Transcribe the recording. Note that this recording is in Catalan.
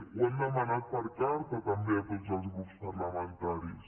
ho han demanat per carta també a tots els grups parlamentaris